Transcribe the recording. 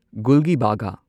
ꯒꯨꯜꯒꯤꯕꯥꯒꯥ